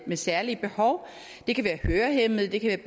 med særlige behov det kan være hørehæmmede det kan